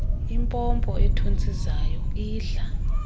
impompo ethontsizayo idla